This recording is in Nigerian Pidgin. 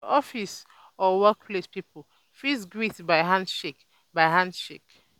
for office or work place pipo fit greet by handshake by handshake um